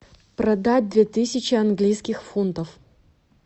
продать две тысячи английских фунтов